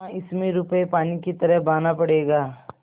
हाँ इसमें रुपये पानी की तरह बहाना पड़ेगा